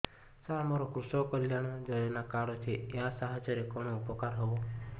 ସାର ମୋର କୃଷକ କଲ୍ୟାଣ ଯୋଜନା କାର୍ଡ ଅଛି ୟା ସାହାଯ୍ୟ ରେ କଣ ଉପକାର ହେବ